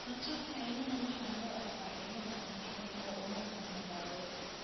Rotorka cillada waxaa loo arkaa cillad aan fiicneyn oo uma baahna daaweyn.